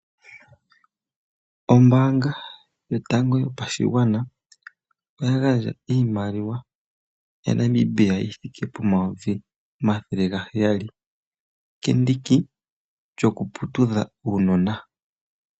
Ombaanga yotango yopashigwana oya gandja iimaliwa yaNamibia yithike N$700000 kendiki lyokuputudha uunona.